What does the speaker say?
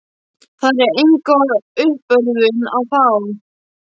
Þar er enga uppörvun að fá.